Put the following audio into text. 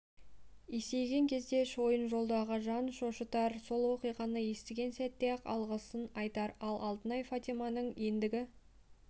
есейген кезде шойынжолдағы жан шошытар сол оқиғаны естіген сәтте-ақ алғысын айтар ал алтынай фатиманың ендігі